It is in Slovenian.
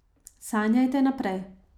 Sanjajte naprej ...